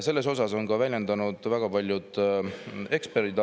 Selle kohta on oma arvamust väljendanud ka väga paljud eksperdid.